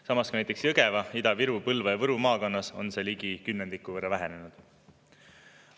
Samas näiteks Jõgeva, Ida-Viru, Põlva ja Võru maakonnas on see ligi kümnendiku võrra vähenenud.